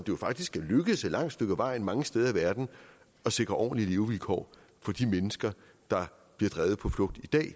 jo faktisk er lykkedes et langt stykke ad vejen mange steder i verden at sikre ordentlige levevilkår for de mennesker der bliver drevet på flugt i dag